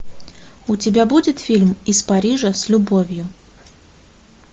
у тебя будет фильм из парижа с любовью